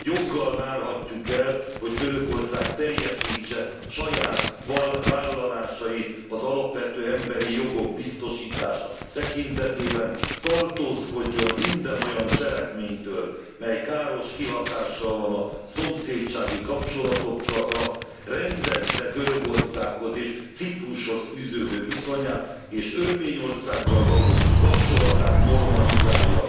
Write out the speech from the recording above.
Joggal várhatjuk el, hogy Törökország teljesítse saját vállalásait az alapvető emberi jogok biztosítása tekintetében, tartózkodjon minden olyan cselekménytől, mely káros kihatással van a szomszédsági kapcsolatokra, rendezze Görögországhoz és Ciprushoz fűződő viszonyát, és Örményországgal való kapcsolatát normalizálja.